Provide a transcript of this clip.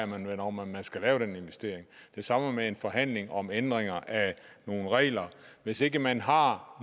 man vel om om man skal lave den investering det samme med en forhandling om ændringer af nogle regler hvis ikke man har